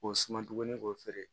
K'o suma tuguni k'o feere